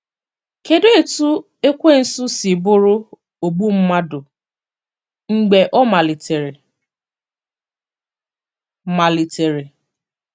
Kedụ etú Ekwensu si bụrụ “ ogbu mmadụ mgbe ọ malitere ”? malitere ”?